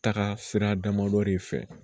Taga sira damadɔ de fɛ